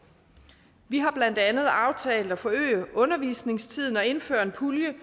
vi har blandt andet aftalt at forøge undervisningstiden og indføre en pulje